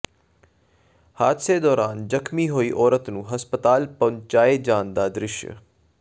ਹਾਦਸੇ ਦੌਰਾਨ ਜ਼ਖ਼ਮੀ ਹੋਈ ਔਰਤ ਨੂੰ ਹਸਪਤਾਲ ਪਹੁੰਚਾਏ ਜਾਣ ਦਾ ਦ੍ਰਿਸ਼